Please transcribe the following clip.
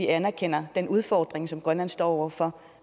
anerkender den udfordring som grønland står over for